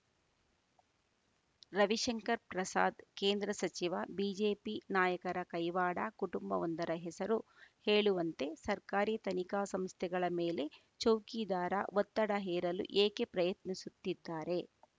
ರವಿಶಂಕರ್‌ ಪ್ರಸಾದ್‌ ಕೇಂದ್ರ ಸಚಿವ ಬಿಜೆಪಿ ನಾಯಕರ ಕೈವಾಡ ಕುಟುಂಬವೊಂದರ ಹೆಸರು ಹೇಳುವಂತೆ ಸರ್ಕಾರಿ ತನಿಖಾ ಸಂಸ್ಥೆಗಳ ಮೇಲೆ ಚೌಕಿದಾರ ಒತ್ತಡ ಹೇರಲು ಏಕೆ ಪ್ರಯತ್ನಿಸುತ್ತಿದ್ದಾರೆ